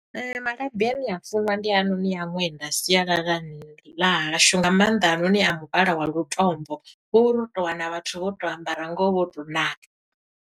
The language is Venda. Malabi ane a funwa ndi hainoni a ṅwenda sialalani ḽa hashu, nga maanḓa haanoni a muvhala wa lutombo, ngoho uri u to wana vhathu vho to ambara ngoho vho to ṋaka.